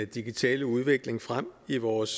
digitale udvikling frem i vores